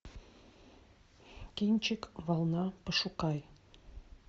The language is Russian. кинчик волна пошукай